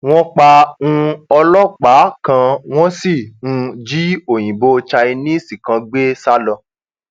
wọn pa um ọlọpàá kan wọn sì um jí òyìnbó chinese kan gbé sá lọ